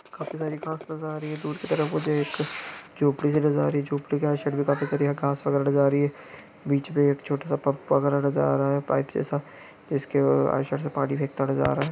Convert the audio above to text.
काफी सारी घास नजर आ रही है दूर की तरफ मुझे एक जोपड़ी सी नजर आ रही है जोपड़ी के आई साइड में काफी करिया घास वगैरा नजर आ रही है बीच में एक छोटा सा पग पादरा नजर आ रहा है पाइप जैसा इसकेव आई साइड से पानी फेकता हूआ नजर आ रहा हैं।